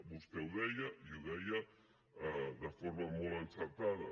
vostè ho deia i ho deia de forma molt encertada